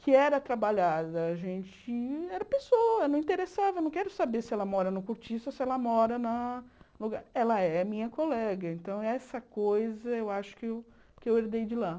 que era trabalhada, a gente, era pessoa, não interessava, eu não quero saber se ela mora no Curtiça ou se ela mora na lugar... Ela é minha colega, então essa coisa eu acho que eu herdei de lá.